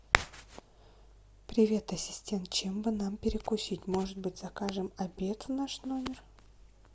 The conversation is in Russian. привет ассистент чем бы нам перекусить может быть закажем обед в наш номер